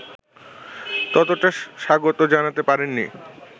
ততটা স্বাগত জানাতে পারেননি